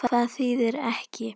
Hvað þýðir ekki?